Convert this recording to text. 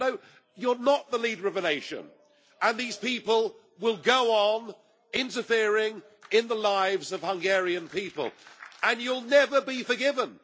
No, you are not the leader of a nation, and these people will go on interfering in the lives of Hungarian people, and you will never be forgiven.